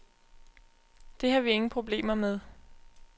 Det har vi ingen problemer med.